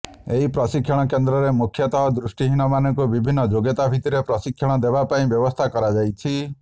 ଏହି ପ୍ରଶିକ୍ଷଣ କେନ୍ଦ୍ରରେ ମୁଖ୍ୟତଃ ଦୃଷ୍ଟିହୀନମାନଙ୍କୁ ବିଭିନ୍ନ ଯୋଗ୍ୟତା ଭିତ୍ତିରେ ପ୍ରଶିକ୍ଷଣ ଦେବାପାଇଁ ବ୍ୟବସ୍ଥା କରାଯାଇଛି